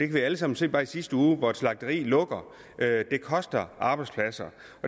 vi alle sammen se bare i sidste uge hvor et slagteri lukkede at det koster arbejdspladser